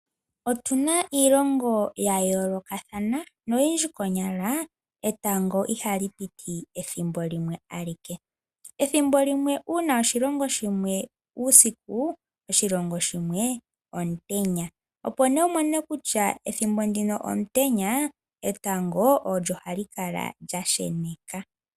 Otu na iilongo ya yoolokathana noyindji konyala etango ihali piti pethimbo limwe. Pethimbo limwe uuna oshilongo shimwe uusiku, oshilongo shimwe omutenya. Opo nduno wu mone kutya ethimbo ndino omutenya, etango olyo hali kala lya sheneka.